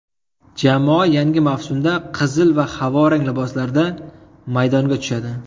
Jamoa yangi mavsumda qizil va havorang liboslarda maydonga tushadi.